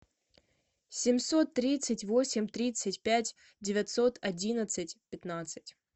семьсот тридцать восемь тридцать пять девятьсот одиннадцать пятнадцать